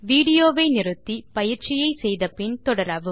விடியோவை இடைநிறுத்தி பயிற்சியை செய்து பின் தொடரவும்